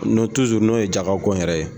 N'o n'o ye jagako yɛrɛ ye.